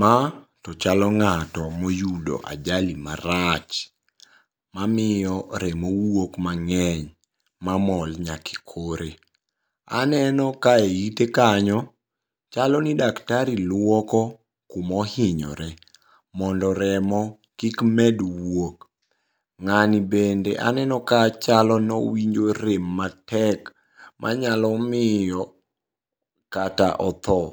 Ma tochalo ng'ato moyudo ajali marach. Mamiyo remo wuok mang'eny mamol nyak ekore. Aneno ka e ite kanyo chalo ni daktari luoko kuma ohinyore mondo remo kik med wuok. Ng'ani bende aneno kachalo ni owinjo rem matek manyalo miyo kata othoo,